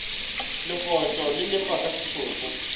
legotlo le lefa ka setopo